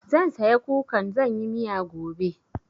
Zan saya kukan zan yi miya gobe.